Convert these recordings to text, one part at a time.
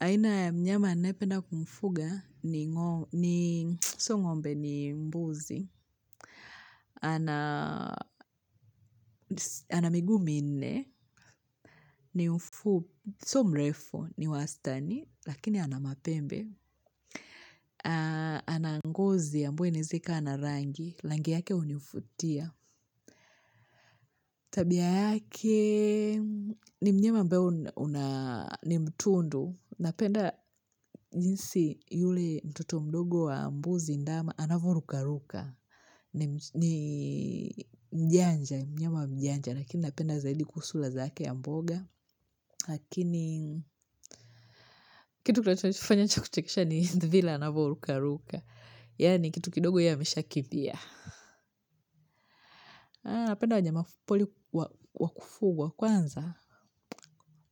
Aina ya mnyama ninayependa kumfuga ni sio ngombe ni mbuzi, ana miguu minne, sio mrefu ni wastani lakini ana mapembe, ana ngozi ambayo inaeza kaa na rangi, rangi yake hunifutia. Tabia yake ni mnyama ambaye ni mtundu, napenda jinsi yule mtoto mdogo wa mbuzi ndama anavoruka ruka, ni mjanja, mnyema mjanja, lakini napenda zaidi kusula zake ya mboga, lakini kitu kinachonifanya cha kuchekesha ni vile anavo ruka ruka, yaani kitu kidogo ye ameshakimbia. Napenda wanyama pori wakufuga kwanza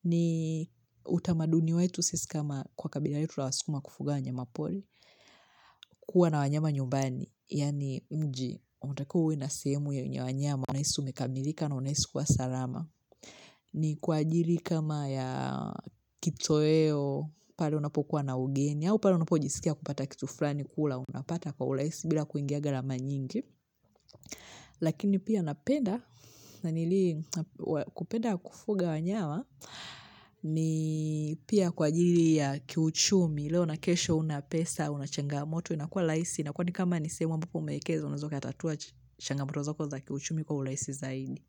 ni utamaduni wetu sisi kama kwa kabila letu la waskuma kufuga wanyama pori kuwa na wanyama nyumbani yaani nje unatakiwa uwe na sehemu ya wanyama unahisi umekamilika na unahisi kuwa salama ni kwa ajili kama ya kitoweo pale unapokuwa na ugeni au pale unapojisikia kupata kitu fulani kula unapata kwa urahisi bila kuingia gharama nyingi Lakini pia napenda na nili kupenda kufuga wanyawa ni pia kwa ajili ya kiuchumi leo na kesho huna pesa unachangamoto inakuwa rahisi inakuwa ni kama ni sehemu ambako umewekeza unaeza ukatatua changamoto zako za kiuchumi kwa urahisi zaidi.